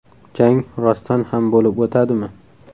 Jang rostdan ham bo‘lib o‘tadimi?